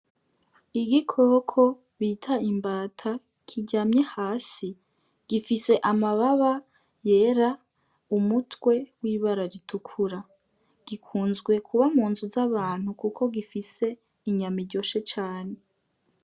Igikoko bita imbata kiryamye hasi gifise amababa yera, umutwe w' ibara ritukura gikunzwe kuba mu nzu z'abantu kuko gifise inyama iryoshe cane.